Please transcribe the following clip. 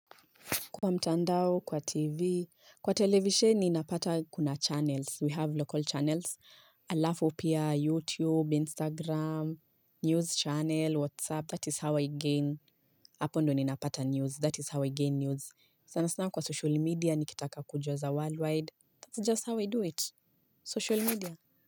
Kwa mtandao, kwa tv, kwa televisheni napata kuna channels, we have local channels, alafu pia YouTube, Instagram, News channel, WhatsApp, that is how i gain, Hapo ndio ni napata news, that is how I gain news, sana sana kwa social media nikitaka kujua za worldwide, that's just how I do it, social media.